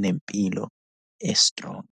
nempilo e-strong.